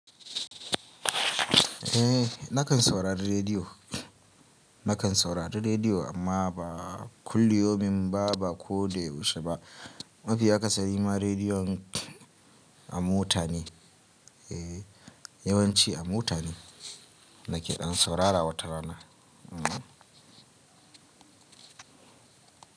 Eh nakan saurari rediyo, nakan saurari rediyo amma ba kulli yomin ba, ba ko dai yaushe ba. Mafiya akasari ma rediyon a mota ne, eh yawanci a mota ne nake saurara watarana.